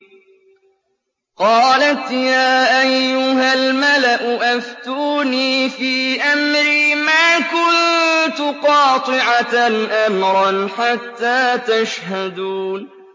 قَالَتْ يَا أَيُّهَا الْمَلَأُ أَفْتُونِي فِي أَمْرِي مَا كُنتُ قَاطِعَةً أَمْرًا حَتَّىٰ تَشْهَدُونِ